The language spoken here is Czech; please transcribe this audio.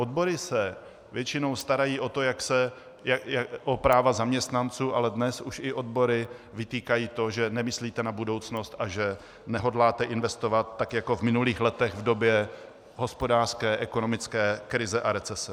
Odbory se většinou starají o práva zaměstnanců, ale dnes už i odbory vytýkají to, že nemyslíte na budoucnost a že nehodláte investovat tak jako v minulých letech v době hospodářské ekonomické krize a recese.